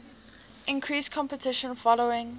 increased competition following